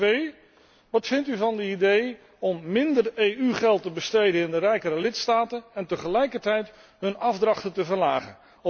Twee Wat vindt u van de idee om minder EU geld te besteden in de rijkere lidstaten en tegelijkertijd hun afdrachten te verlagen?